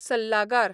सल्लागार